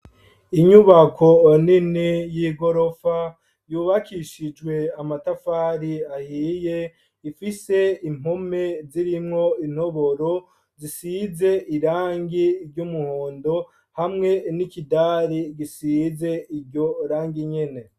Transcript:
Inyubako nini, y'igorofa, yubakishijwe amatafari ahiye, ifise impome zirimwo intoboro, zisize irangi ry'umuhondo, hamwe n'ikidari, gisize iryo rangi nyene.